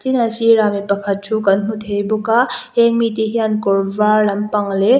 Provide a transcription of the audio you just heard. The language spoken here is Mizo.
a sirah mi pakhat thu kan hmu thei bawk a heng mite hian kawr var lampang leh--